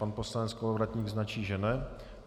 Pan poslanec Kolovratník značí, že ne.